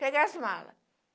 Peguei as malas.